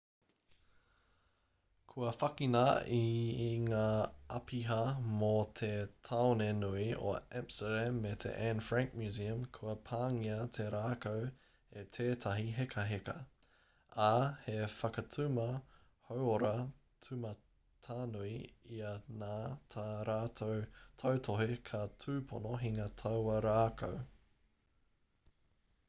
kua whakina e ngā āpiha mō te tāone nui o amsterdam me te anne frank museum kua pāngia te rākau e tētahi hekaheka ā he whakatuma hauora tūmatanui ia nā tā rātou tautohe ka tūpono hinga taua rākau